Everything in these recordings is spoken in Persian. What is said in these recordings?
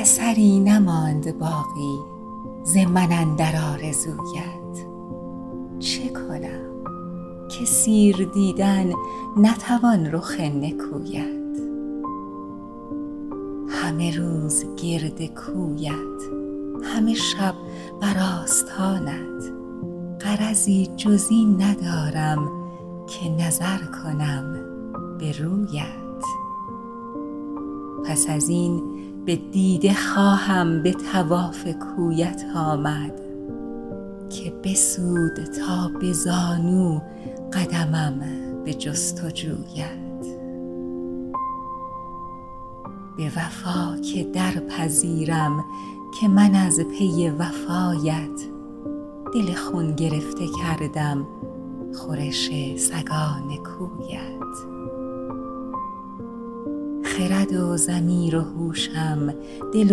اثری نماند باقی ز من اندر آرزویت چه کنم که سیر دیدن نتوان رخ نکویت همه روز گرد کویت همه شب بر آستانت غرضی جز این ندارم که نظر کنم به رویت پس از این به دیده خواهم به طواف کویت آمد که بسود تا به زانو قدمم به جستجویت به وفا که درپذیرم که من از پی وفایت دل خون گرفته کردم خورش سگان کویت خرد و ضمیر و هوشم دل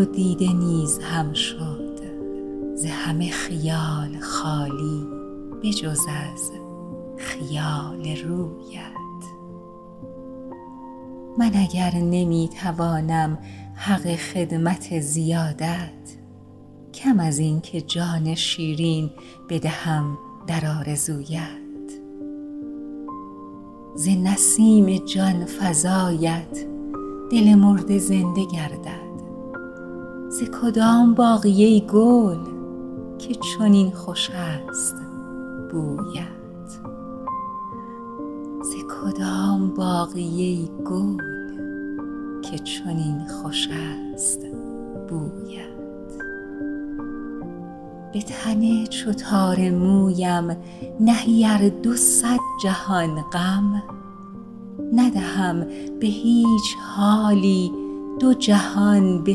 و دیده نیز هم شد ز همه خیال خالی به جز از خیال رویت من اگر نمی توانم حق خدمت زیادت کم از این که جان شیرین بدهم در آرزویت ز نسیم جانفزایت دل مرده زنده گردد ز کدام باغی ای گل که چنین خوش است بویت به تن چو تار مویم نهی ار دو صد جهان غم ندهم به هیچ حالی دو جهان به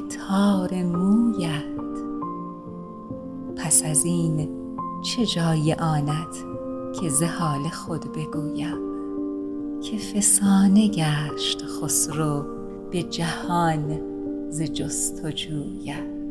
تار مویت پس از این چه جای آنت که ز حال خود بگویم که فسانه گشت خسرو به جهان ز جستجویت